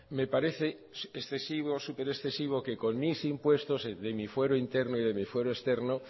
me parece excesivo súper excesivo que con mis impuestos de mi fuero interno y de mi fuero externo